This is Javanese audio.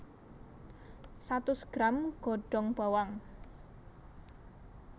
Satus gram godhong bawang